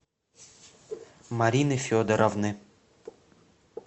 марины федоровны